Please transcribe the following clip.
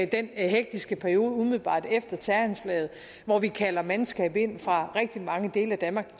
den hektiske periode umiddelbart efter terroranslaget hvor vi kalder mandskab ind fra rigtig mange dele af danmark